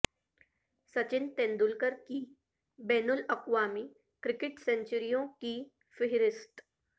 سچن تندولکر کی بین الاقوامی کرکٹ سنچریوں کی فہرست